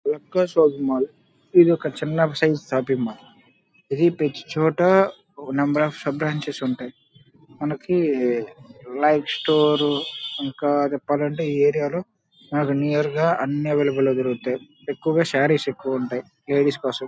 లకా shopping mall ఇది ఒక చిన్న సైజ్ షాపింగ్ మాల్ . ఇది ప్రతి చోట నెంబర్ అఫ్ బ్రాంచెస్ ఉంటాయి. మనకి లైక్ స్టోరు ఇంకా చెప్పాలా అంటే ఈ ఏరియా లో నాకి నియర్ గా అన్ని అవైలబల్ లో దొరుకుతాయి. ఎక్కువగా సారీస్ ఎక్కువ ఉంటాయి లేడీస్ కోసం.